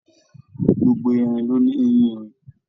Gbogbo erin ló ní eyin-erin.